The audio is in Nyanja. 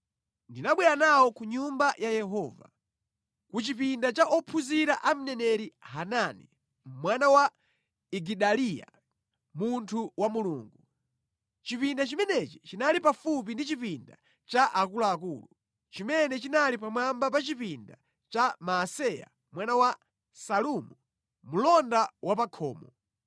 Ndinabwera nawo ku Nyumba ya Yehova, ku chipinda cha ophunzira a mneneri Hanani mwana wa Igidaliya, munthu wa Mulungu. Chipinda chimenechi chinali pafupi ndi chipinda cha akuluakulu, chimene chinali pamwamba pa chipinda cha Maaseya mwana wa Salumu, mlonda wa pa khomo.